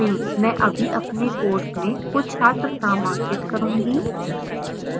मैं अभी अपने course में कुछ छात्र नामांकित करूँगी